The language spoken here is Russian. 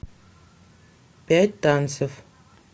пять танцев